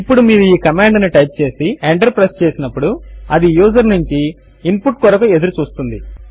ఇప్పుడు మీరు ఈ కమాండ్ ను టైప్ చేసి ఎంటర్ ప్రెస్ చేసినప్పుడు అది యూజర్ నుంచి ఇన్ పుట్ కొరకు ఎదురు చూస్తుంది